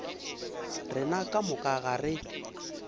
rena ka moka ga rena